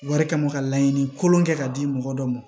Wari kama ka laɲini kolon kɛ ka di mɔgɔ dɔ ma